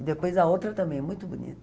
E depois a outra também, muito bonita.